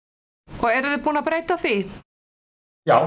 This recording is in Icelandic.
og eruð þið búin að breyta því já